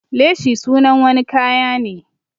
Leshi sunan wani kaya ne.